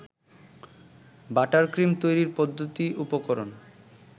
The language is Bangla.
বাটারক্রিম তৈরির পদ্ধতি উপকরণ